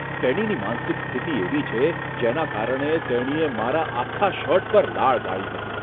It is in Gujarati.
તેણીની માનસિક સ્થિતિ એવી છે જેના કારણે તેણીએ મારા આખા શર્ટ પર લાળ ગાળી હતી.